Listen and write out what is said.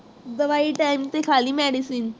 ਦਵਾਈ time ਤੇ ਖਾਲੀ medicine